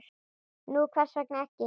Nú hvers vegna ekki?